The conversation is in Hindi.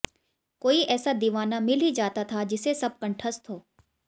कोई ऐसा दीवाना मिल ही जाता था जिसे सब कंठस्थ हो